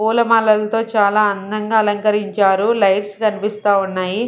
పూలమాలలతో చాలా అందంగా అలంకరించారు లైట్స్ కనిపిస్తా ఉన్నాయి.